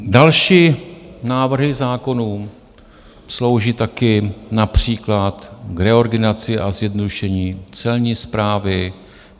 Další návrhy zákonů slouží taky například k reorganizaci a zjednodušení Celní správy.